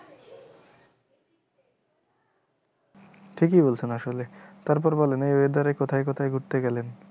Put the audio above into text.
ঠিকই বলছেন আসলে তারপর বলেন এই weather এ কোথায় কোথায় ঘুরতে গেলেন?